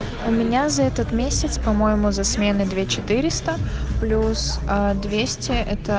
у меня за этот месяц по-моему за смены две четыреста плюс ээ двести это